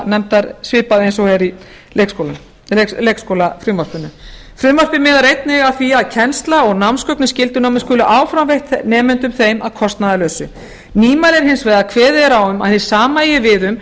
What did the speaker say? skólanefndar svipað eins og er í leikskólafrumvarpinu frumvarpið miðar einnig að því að kennsla og námsgögn í skyldunámi skuli áfram veitt nemendum þeim að kostnaðarlausu nýmæli er hins vegar að kveðið er á um að hið sama eigi við um